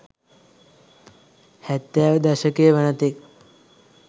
හැත්තෑව දශකය වනතෙක්